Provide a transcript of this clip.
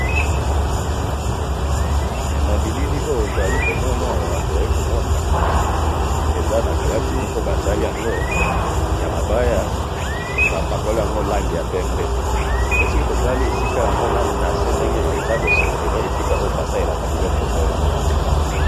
he na bilili oyo tozali komona awa tozali komona eza nakabati moko basali yango namabaya pe soki totali nase nayango ezali esika basalelaka bosoto oyo.